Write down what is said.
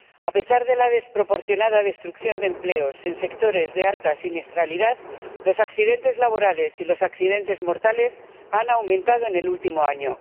A pesar de la desproporcionada destrucción de empleos en sectores de alta siniestralidad, los accidentes laborales y los accidentes mortales han aumentado en el último año.